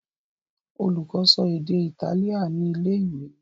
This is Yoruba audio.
Olùkó so èdè Itálíà ní ilé-ìwé.